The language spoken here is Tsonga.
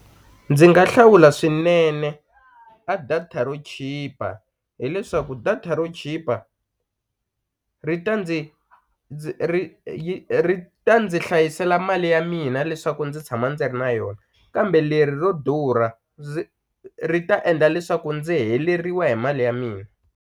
Ndzi nga hlawula swinene a data ro chipa hileswaku data ro chipa ri ta ndzi ndzi ri yi ri ta ndzi hlayisela mali ya mina leswaku ndzi tshama ndzi ri na yona kambe leri ro durha ndzi ri ta endla leswaku ndzi heleriwa hi mali ya mina.